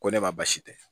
Ko ne ma baasi tɛ